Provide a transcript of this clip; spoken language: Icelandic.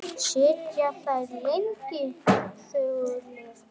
Sitja þeir lengi þögulir eftir.